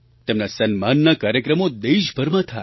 તેમના સન્માનના કાર્યક્રમો દેશભરમાં થાય